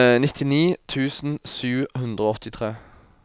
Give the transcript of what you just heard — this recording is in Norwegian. nittini tusen sju hundre og åttitre